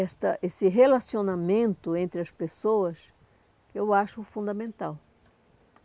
esta esse relacionamento entre as pessoas, eu acho fundamental.